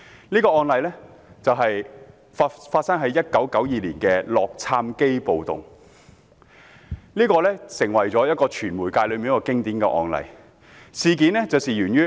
這宗案例發生在1992年的洛杉磯暴動，成為傳媒界的經典案例。